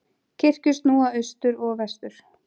Kirkjur snúa austur og vestur.